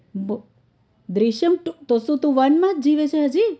બો દૃશ્યમ two તો તો તુ one માં જીવે છે હજી?